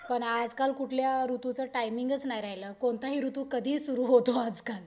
पण आजकाल कुठल्या ऋतूचं टायमिंगच नाही राहिलं. कोणतंही ऋतू कधीही सुरु होतो आजकाल.